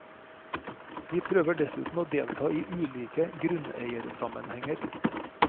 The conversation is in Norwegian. Vi prøver dessuten å delta i ulike grunneiersammenhenger.